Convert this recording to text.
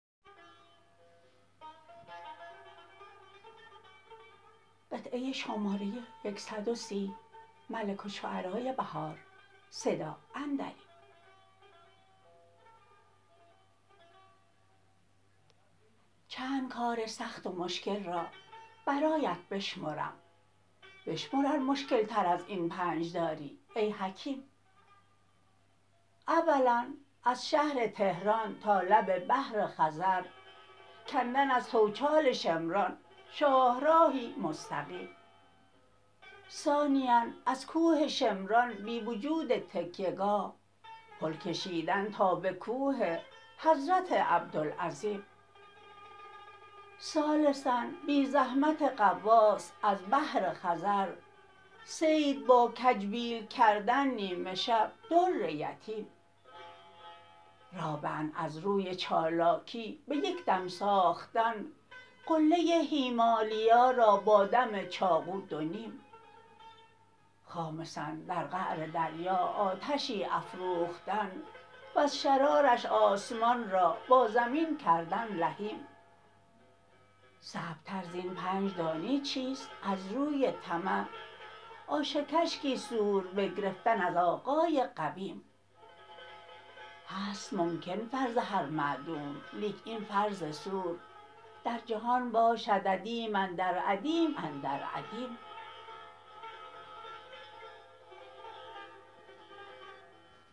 چندکار سخت و مشکل را برایت بشمرم بشمر ار مشکل تر از این پنج داری ای حکیم اولا از شهر تهران تا لب بحر خزر کندن از توچال شمران شاهراهی مستقیم ثانیا ازکوه شمران بی وجود تکیه گاه پل کشیدن تا به کوه حضرت عبدالعظیم ثالثا بی زحمت غواص از بحر خزر صید با کج بیل کردن نیمه شب در یتیم رابعا از روی چالاکی به یک دم ساختن قله هیمالیا را با دم چاقو دو نیم خامسا در قعر دریا آتشی افروختن وز شرارش آسمان را با زمین کردن لحیم صعب تر زین پنج دانی چیست از روی طمع آش کشکی سور بگرفتن از آقای قویم هست ممکن فرض هر معدوم لیک این فرض سور در جهان باشد عدیم اندر عدیم اندر عدیم